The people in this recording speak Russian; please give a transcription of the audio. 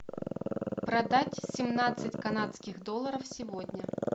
продать семнадцать канадских долларов сегодня